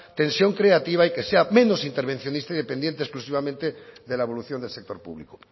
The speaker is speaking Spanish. tensión creativa y que sea menos intervencionista y dependiente exclusivamente de la evolución del sector público